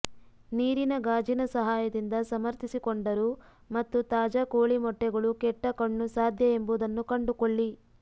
ನೀರಿನ ಗಾಜಿನ ಸಹಾಯದಿಂದ ಸಮರ್ಥಿಸಿಕೊಂಡರು ಮತ್ತು ತಾಜಾ ಕೋಳಿ ಮೊಟ್ಟೆಗಳು ಕೆಟ್ಟ ಕಣ್ಣು ಸಾಧ್ಯ ಎಂಬುದನ್ನು ಕಂಡುಕೊಳ್ಳಿ